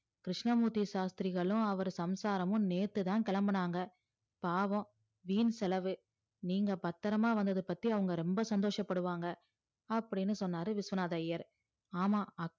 கிருஸ்னமூர்த்தி சாஸ்த்திரிகளும் அவரு சமுசாராமும் நேத்து தான் கேளம்புனாங்க பாவும் வின் செலவு நீங்க பத்ரமா வந்தத பத்தி அவுங்க ரொம்ப சந்தோஷம் படுவாங்க அப்டின்னு சொன்னாரு விஸ்வநாதர் ஐயர் ஆமாம்